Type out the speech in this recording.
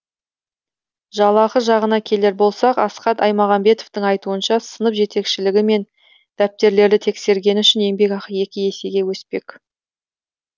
жалақы жағына келер болсақ асхат аймағамбетовтың айтуынша сынып жетекшілігі мен дәптерлерді тексергені үшін еңбекақы екі есеге өспек